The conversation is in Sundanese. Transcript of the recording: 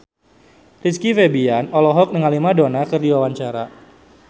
Rizky Febian olohok ningali Madonna keur diwawancara